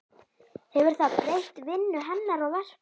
Hefur það breytt vinnu hennar og verkum?